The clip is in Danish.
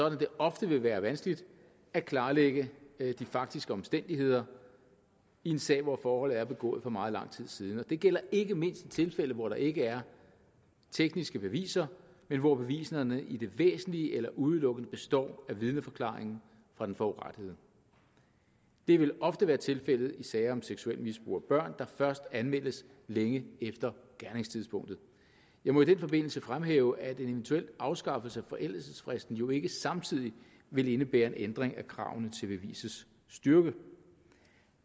at det ofte vil være vanskeligt at klarlægge de faktiske omstændigheder i en sag hvor forholdet er begået for meget lang tid siden og det gælder ikke mindst i de tilfælde hvor der ikke er tekniske beviser men hvor beviserne i det væsentlige eller udelukkende består af vidneforklaringen fra den forurettede det vil ofte være tilfældet i sager om seksuelt misbrug af børn der først anmeldes længe efter gerningstidspunktet jeg må i den forbindelse fremhæve at en eventuel afskaffelse af forældelsesfristen jo ikke samtidig vil indebære en ændring af kravene til bevisets styrke